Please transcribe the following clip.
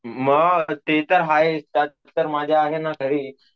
हम्म ते तर आहेच तर माझ्या आहे ना घरी .